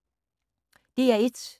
DR1